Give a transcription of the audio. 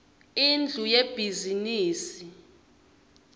indlu yebhizimisi